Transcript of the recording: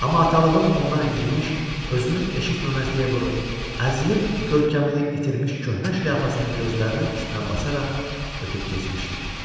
Amma atalığım ondan incimiş, özünü eşitməməzliyə vurub, əzilib görkəmini itirmiş köhnə şlyapasını gözlərinin üstünə basaraq ötüb keçmişdi.